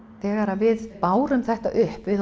þegar við bárum það upp við